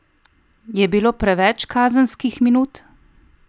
Je bilo preveč kazenskih minut?